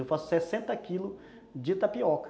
Eu faço sessenta quilos de tapioca.